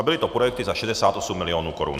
A byly to projekty za 68 mil. korun.